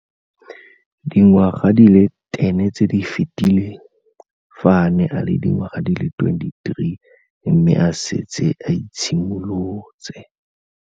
Dingwaga di le 10 tse di fetileng, fa a ne a le dingwaga di le 23 mme a setse a itshimoletse.